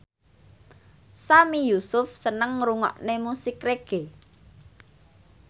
Sami Yusuf seneng ngrungokne musik reggae